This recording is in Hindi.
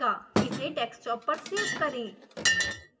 इसे डेस्कटॉप पर सेव करें